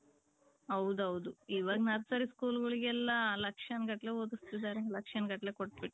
ಹೌದ್ ಹೌದ್ ಇವಗ್ nursery school ಗಳೆಗ್ ಎಲ್ಲಾ ಲಕ್ಷಣ್ ಗಟ್ಲೆ ಓದುಸ್ತಿದರೆ ಲಕ್ಷನ್ಗಟ್ಲೆ ಕೊಟ್ಬುಟ್ .